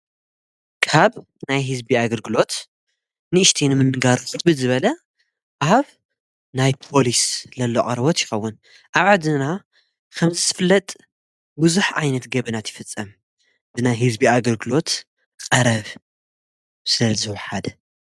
ካብ ናይ ሕዝቢ ኣግልግሎት ንእሽተይን ምንጋሩዝትቢ ዝበለ ኣብ ናይ ጶልስ ለሎቐርቦት ይኸውን ኣዕ ድና ኸምዝስፍለጥ ብዙኅ ዓይነት ገብናት ይፍጸ ብናይ ሕዝቢ ኣግርግሎት ቐረብ ስለ ዝውሓደ